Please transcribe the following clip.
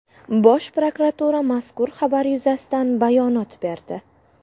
Bosh prokuratura mazkur xabar yuzasidan bayonot berdi.